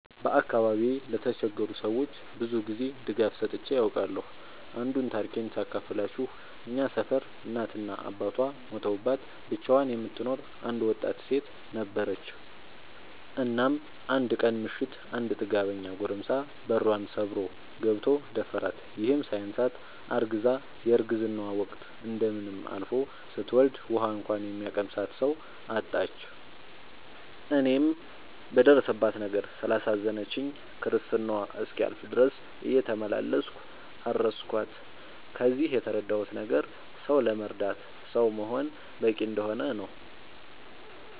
በአካባቢዬ ለተቸገሩ ሰዎች ብዙ ጊዜ ድጋፍ ሰጥቼ አውቃለሁ። አንዱን ታሪኬን ሳካፍላችሁ እኛ ሰፈር እናት እና አባቷ ሞተውባት ብቻዋን የምትኖር አንድ ወጣት ሴት ነበረች። እናም አንድ ቀን ምሽት አንድ ጥጋበኛ ጎረምሳ በሯን ሰብሮ ገብቶ ደፈራት። ይህም ሳያንሳት አርግዛ የረግዝናዋ ወቅት እንደምንም አልፎ ስትወልድ ውሀ እንኳን የሚያቀምሳት ሰው አጣች። እኔም በደረሰባት ነገር ስላሳዘነችኝ ክርስትናዋ እስኪያልፍ ድረስ እየተመላለስኩ አረስኳት። ከዚህ የተረዳሁት ነገር ሰው ለመርዳት ሰው መሆን በቂ እንደሆነ ነው።